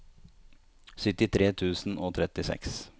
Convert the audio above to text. syttitre tusen og trettiseks